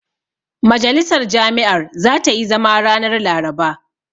Majalisar jami'ar zata yi zama ranar Laraba.